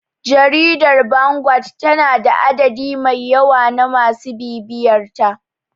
Jaridar Vanguard tana da adadi mai yawa na masu bibiyarta.